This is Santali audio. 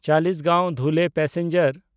ᱪᱟᱞᱤᱥᱜᱟᱸᱶ–ᱫᱷᱩᱞᱮ ᱯᱮᱥᱮᱧᱡᱟᱨ